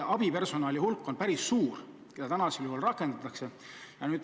Abipersonali hulk, mida praegu rakendatakse, on päris suur.